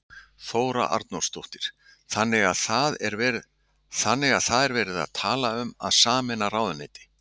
Þóra Arnórsdóttir: Þannig að það er verið að tala um að sameina ráðuneyti?